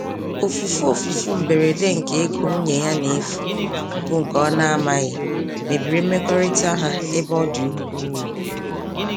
Ofufu Ofufu mberede nke ego nwunye ya n'efu, bu nke ọ na-amaghị mebiri mmekọrịta ha ebe ọ dị ukwuu.